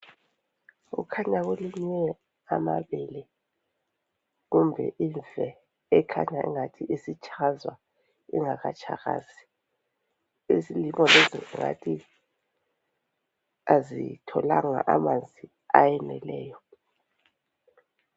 Kukhanya kulinywe amabele kumbe imfe ekhanyayo engathi itshazwa ingakatshakazi isilimo lesi singathi azitholanga amanzi ayeneleyo